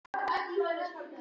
Bíl stolið af plani bílasölu